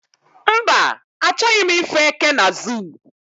mba, achoghi m ifu eke na zoo